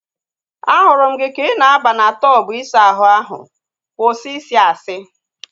Ahụrụ m gị ka ị na aba na tọbu isa ahụ ahu. Kwụsị I si asị!